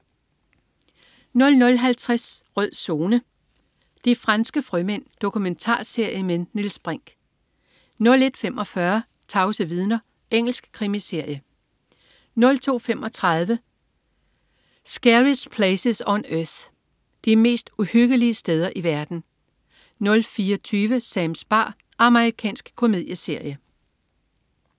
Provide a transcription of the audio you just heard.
00.50 Rød Zone: De franske frømænd. Dokumentarserie med Niels Brinch 01.45 Tavse vidner. Engelsk krimiserie 02.35 Scariest Places on Earth. De mest uhyggelige steder i verden 04.20 Sams bar. Amerikansk komedieserie